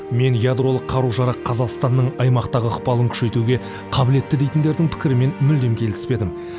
мен ядролық қару жарақ қазақстанның аймақтағы ықпалын күшейтуге қабілетті дейтіндердің пікірімен мүлдем келіспедім